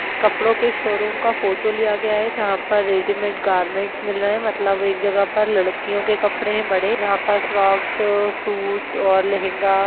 कपड़ों के शोरूम का फोटो लिया गया है जहाँ पे रेडीमेड गारमेन्टस मिल रहे हैं मतलब एक जगह पर लड़कियों के कपड़े पड़े जहाँ पर फ्रॉक्स और सूट और लहंगा --